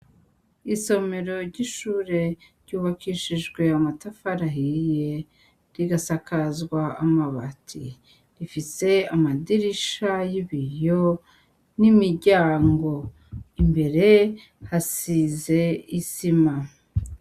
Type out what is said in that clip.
Isomero ryishure ryubakishijwe amatafari ahiye rirasakazwa amabati, rifise amadirisha yibiyo nimiryango imbere hasize isima.